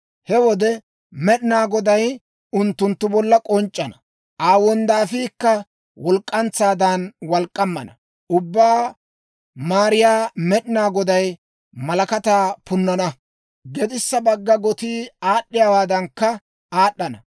He wode Med'inaa Goday unttunttu bolla k'onc'c'ana; Aa wonddaafiikka walk'k'antsaadan walk'k'ammana. Ubbaa Maariyaa Med'inaa Goday malakataa punnana; gedissa bagga gotii aad'd'iyaawaadankka aad'd'ana.